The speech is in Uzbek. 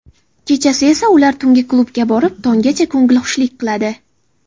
Kechasi esa ular tungi klubga borib, tonggacha ko‘ngilxushlik qiladi.